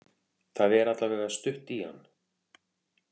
Það er allavega stutt í hann.